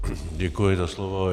Děkuji za slovo.